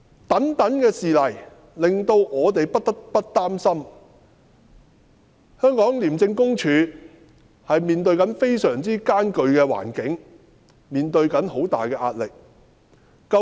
種種事例，令我們不得不擔心廉署正面對非常嚴峻的環境，面對着重大壓力。